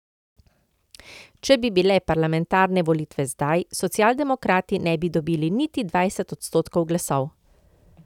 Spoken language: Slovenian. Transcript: Če bi bile parlamentarne volitve zdaj, socialdemokrati ne bi dobili niti dvajset odstotkov glasov.